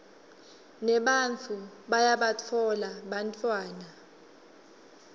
nebantfu bayabatfola bantfwana